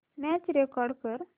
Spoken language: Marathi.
मॅच रेकॉर्ड कर